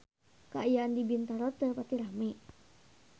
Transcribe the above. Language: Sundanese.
Kaayaan di Bintaro teu pati rame